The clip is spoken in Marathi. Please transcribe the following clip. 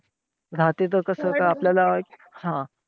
हा त्याचं कसं आपल्याला एक हा!